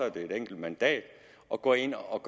et enkelt mandat at gå ind og